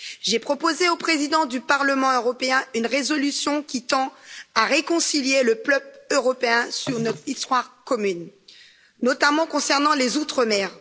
J'ai proposé au Président du Parlement européen une résolution qui tend à réconcilier le peuple européen sur notre histoire commune, notamment concernant les Outre mer.